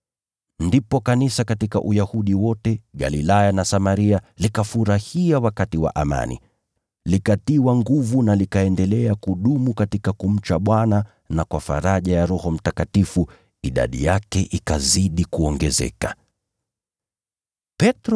Ndipo kanisa katika Uyahudi wote, Galilaya na Samaria likafurahia wakati wa amani. Likatiwa nguvu, na kwa faraja ya Roho Mtakatifu, idadi yake ikazidi kuongezeka, na likaendelea kudumu katika kumcha Bwana.